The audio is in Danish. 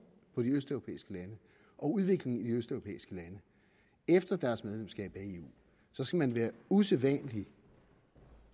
på de østeuropæiske lande og udviklingen i de østeuropæiske lande efter deres medlemskab af eu så skal man være usædvanlig